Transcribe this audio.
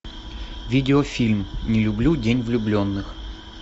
видеофильм не люблю день влюбленных